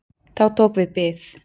Þá tók við bið.